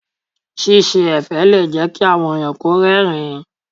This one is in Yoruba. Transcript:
Ṣíṣe ẹ̀fẹ̀ lè jẹ́ kí àwọn ẹ̀yàn rẹ́rìn-ín.